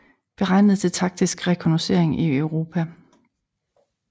Beregnet til taktisk rekognoscering i Europa